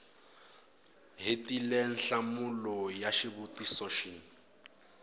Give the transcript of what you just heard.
hetile nhlamulo ya xivutiso xin